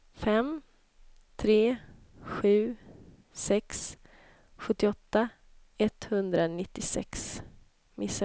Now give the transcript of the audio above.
fem tre sju sex sjuttioåtta etthundranittiosex